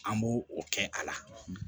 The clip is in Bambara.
An b'o o kɛ a la